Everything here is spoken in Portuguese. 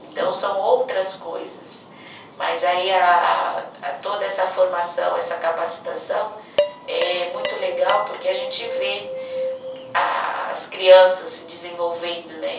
Então são outras coisas, mas aí a a, toda essa formação, essa capacitação é muito legal porque a gente vê a as crianças se desenvolvendo né.